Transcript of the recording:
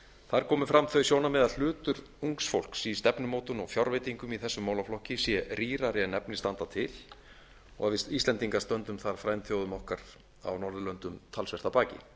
þar komu fram þau sjónarmið að hlutur ungs fólk í stefnumótun og fjárveitingum í þessum málaflokki sé rýrari en efni standa til og við íslendingar stöndum þar frændþjóðum okkar á norðurlöndum talsvert að baki